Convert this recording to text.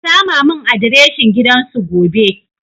Ki sama mun adireshin gidan su gobe